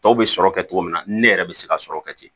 Tɔw bɛ sɔrɔ kɛ togo min na ne yɛrɛ bɛ se ka sɔrɔ kɛ ten